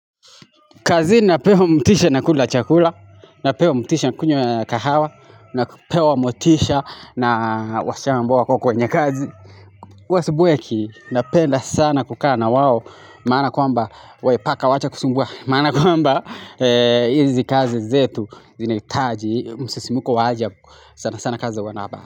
Kazi napewa mtisha na kula chakula, napewa mtisha na kunywa kahawa, napewa mtisha na washama mboa kwa kwenye kazi. Uwasi buweki, napenda sana kukana wao, maana kwamba, wepaka wacha kusungua, maana kwamba hizi kazi zetu, zinaitaji, msisimuko waajab sana sana kazi wanaba.